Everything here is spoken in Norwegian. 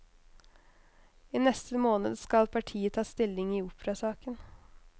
I neste måned skal partiet ta stilling i operasaken.